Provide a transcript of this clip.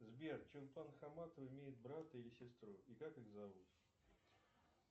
сбер чулпан хаматова имеет брата или сестру и как их зовут